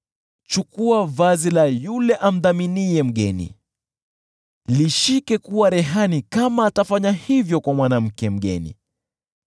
Chukua vazi la yule awekaye dhamana kwa ajili ya mgeni; lishikilie iwe dhamana kama anafanya hivyo kwa ajili ya mwanamke mpotovu.